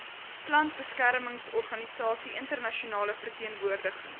plantbeskermingsorganisasie internasionale verteenwoordiging